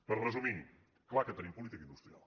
per resumir és clar que tenim política industrial